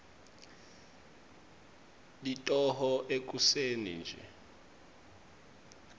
litoho ekuseni nje